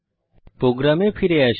প্রোগ্রামে ফিরে আসি